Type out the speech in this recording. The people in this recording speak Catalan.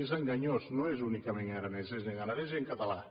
és enganyós no és únicament en aranès és en aranès i en català